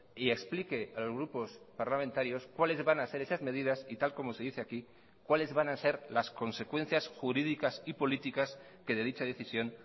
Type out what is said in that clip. y explique a los grupos parlamentarios cuáles van a ser esas medidas y tal como se dice aquí cuáles van a ser las consecuencias jurídicas y políticas que de dicha decisión